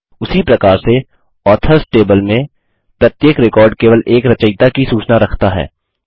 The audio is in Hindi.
उसी प्रकार से ऑथर्स टेबल में प्रत्येक रिकॉर्ड केवल एक रचयिता की सूचना रखता है